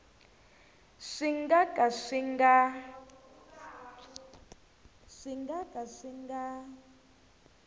swi nga ka swi nga